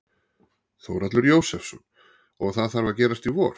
Þórhallur Jósefsson: Og það þarf að gerast í vor?